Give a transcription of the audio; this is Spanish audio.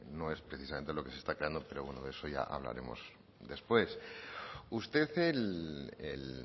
no es precisamente lo que se está creando pero bueno de eso ya hablaremos después usted el